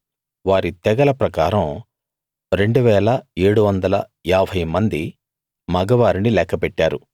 వారి తెగల ప్రకారం 2 750 మంది మగ వారిని లెక్క పెట్టారు